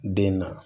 Den na